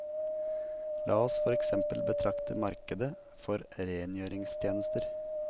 La oss for eksempel betrakte markedet for rengjøringstjenester.